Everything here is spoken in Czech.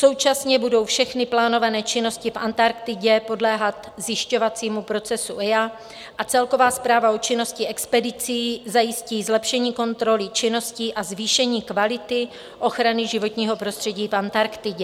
Současně budou všechny plánované činnosti v Antarktidě podléhat zjišťovacímu procesu EIA a celková zpráva o činnosti expedicí zajistí zlepšení kontroly činností a zvýšení kvality ochrany životního prostředí v Antarktidě.